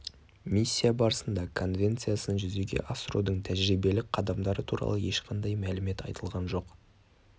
миссия барысында конвенциясын жүзеге асырудың тәжірибелік қадамдары туралы ешқандай мәлімет айтылған жоқ